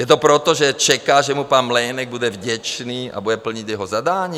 Je to proto, že čeká, že mu pan Mlejnek bude vděčný a bude plnit jeho zadání?